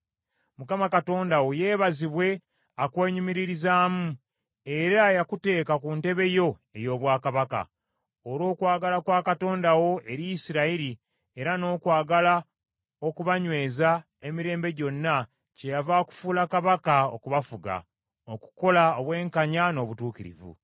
Mukama Katonda wo yeebazibwe akwenyumiririzaamu, era eyakuteeka ku ntebe yo ey’obwakabaka. Olw’okwagala kwa Katonda wo eri Isirayiri, era n’okwagala okubanyweza emirembe gyonna, kyeyava akufuula kabaka okubafuga, okukola obwenkanya n’obutuukirivu.”